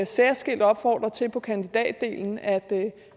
særskilt opfordrer til på kandidatdelen at